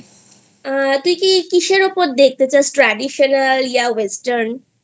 আ তুই কি কিসের ওপর দেখতে চাস traditional ya western ?